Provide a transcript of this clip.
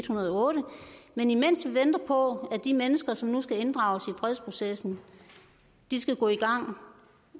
hundrede og otte men imens vi venter på at de mennesker som nu skal inddrages i fredsprocessen skal gå i gang